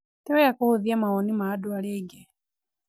Ti wega kũhũthia mawoni ma andũ arĩa angĩ.